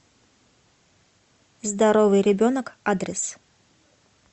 здоровый ребенок адрес